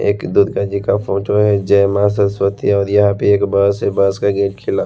एक दुर्गा जी का फोटो है जय माँ सरस्वती और यहाँ पे एक बस से बस का गेट खिला --